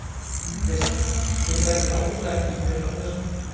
Kristján: Þið grædduð ágætlega í fyrr á þessu?